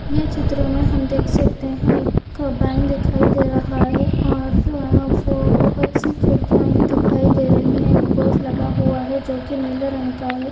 ये चित्र में हम देख सकते है एक बैंक दिखाई दे रहा है और वो बहुत-सी खिड़कियां भी दिखाई दे रही है एक बोर्ड लगा हुआ है जो कि नीले रंग का है।